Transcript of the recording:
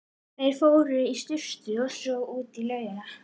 Þeir fóru í sturtu og svo út í laugina.